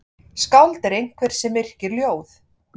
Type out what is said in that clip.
Skáld er einhver sem yrkir ljóð.